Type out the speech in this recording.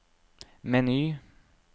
meny